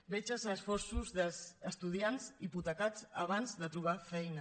veig els esforços dels estudiants hipotecats abans de tro·bar feina